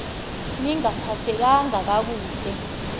ni ngaphathekanga kakuhle